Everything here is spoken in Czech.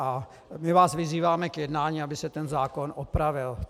A my vás vyzýváme k jednání, aby se ten zákon opravil.